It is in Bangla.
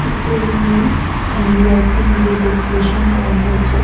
একটা রুম এ অ্যাঁ লাইটিং দিয়ে ডেকোরেশন করা হয়েছে।